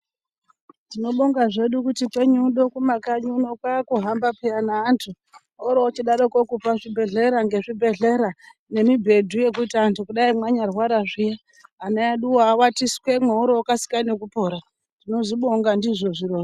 Tinobonga zvedu kuti kwenyuuno kumakanyi uno kwaakuhamba peya neantu oroochidaroko kupa zvibhedhlera ngezvibhedhlera nemibhedhu yekuti antu kudai manyarwara zviya ana edu awatiswemwo orookasika nekupora ,tinozvibonga ndizvo zvirozvo .